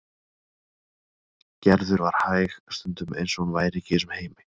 Gerður var hæg, stundum eins og hún væri ekki í þessum heimi.